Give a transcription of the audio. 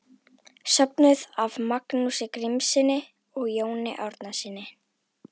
Söfnuð af Magnúsi Grímssyni og Jóni Árnasyni.